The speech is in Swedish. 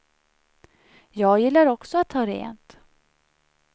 Jag gillar också att ha rent.